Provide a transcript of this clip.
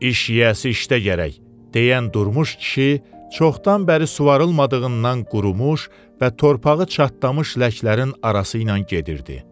İş yiyəsi işdə gərək deyən durmuş kişi çoxdan bəri suvarılmadığından qurumuş və torpağı çatlamış ləklərin arası ilə gedirdi.